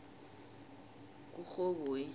kurhoboyi